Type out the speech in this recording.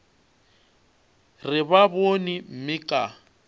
re ba bone mme ka